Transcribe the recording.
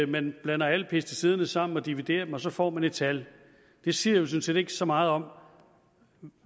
man blander alle pesticiderne sammen og dividerer det og så får man et tal det siger jo sådan set ikke så meget om